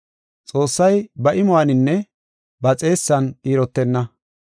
Xoossay ba imuwaninne ba xeessan qiirotenna.